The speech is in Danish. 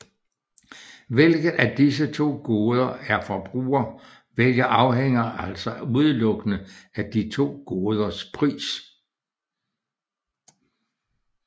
Hvilket af disse to goder en forbruger vælger afhænger altså udelukkende af de to goders pris